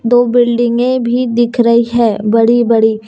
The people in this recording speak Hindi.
दो बिल्डिंगे भी दिख रही हैं बड़ी बड़ी।